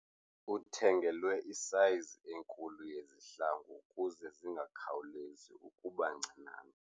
Uthengelwe isayizi enkulu yezihlangu ukuze zingakhawulezi ukuba ncinane.